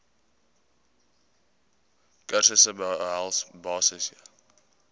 kursusse behels basiese